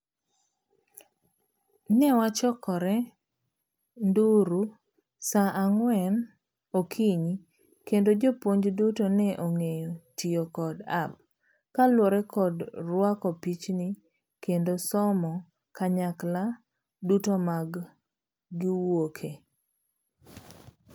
Ne wachokre Nduru saa ang'wen okonyi kendo jopuonj duto ne ong'eyo tiyo kod app kaluwore kod ruako pichni kendo somo kanyakla duto ma giwuokie.